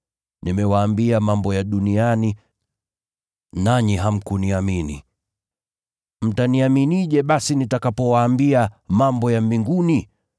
Nimewaambia mambo ya duniani, nanyi hamkuniamini, mtaniaminije basi nitakapowaambia mambo ya mbinguni?